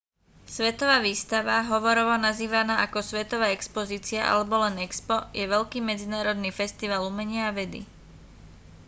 svetová výstava hovorovo nazývaná ako svetová expozícia alebo len expo je veľký medzinárodný festival umenia a vedy